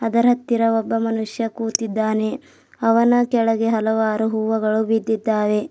ಅದರ ಹತ್ತಿರ ಒಬ್ಬ ಮನುಷ್ಯ ಕೂತಿದ್ದಾನೆ ಅವನ ಕೆಳಗೆ ಹಲವಾರು ಹೂವಗಳು ಬಿದ್ದಿದ್ದಾವೆ.